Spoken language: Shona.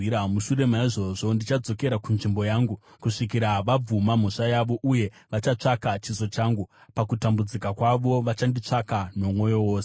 Mushure maizvozvo ndichadzokera kunzvimbo yangu, kusvikira vabvuma mhosva yavo. Uye vachatsvaka chiso changu; pakutambudzika kwavo vachanditsvaka nomwoyo wose.”